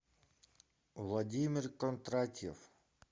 владимир кондратьев